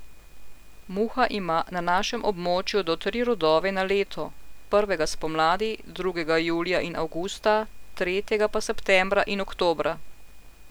Muha ima na našem območju do tri rodove na leto, prvega spomladi, drugega julija in avgusta, tretjega pa septembra in oktobra.